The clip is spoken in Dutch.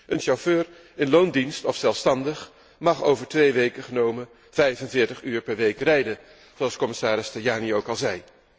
Een chauffeur in loondienst of zelfstandig mag over twee weken genomen 45 uur per week rijden, zoals commissaris Tajani ook al zei.